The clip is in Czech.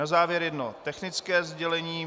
Na závěr jedno technické sdělení.